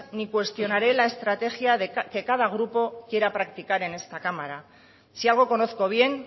ni cuestionaré la estrategia que cada grupo quiera practicar en esta cámara si algo conozco bien